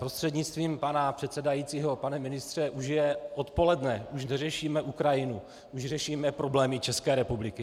Prostřednictvím pana předsedajícího, pane ministře, už je odpoledne, už neřešíme Ukrajinu, už řešíme problémy České republiky!